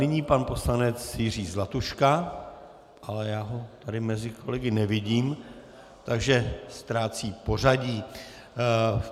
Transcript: Nyní pan poslanec Jiří Zlatuška, ale já ho tady mezi kolegy nevidím, takže ztrácí pořadí.